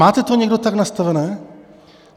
Máte to někdo tak nastavené?